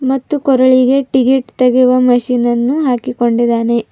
ಮತ್ತು ಕೊರಳಿಗೆ ಟಿಕೆಟ್ ತೆಗೆಯುವ ಮಿಷನ್ ಅನ್ನು ಹಾಕಿಕೊಂಡಿದ್ದಾನೆ.